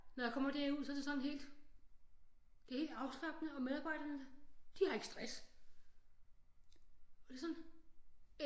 Når jeg kommer derud så er det sådan helt det er helt afslappende og medarbejderne de har ikke stress og det er sådan